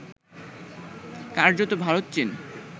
কার্যত ভারত চীন